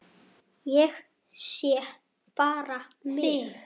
Ég sé bara þig!